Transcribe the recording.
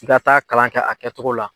ka taa kalan kɛ a kɛcogo la.